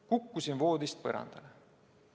Kukkusin voodist põrandale.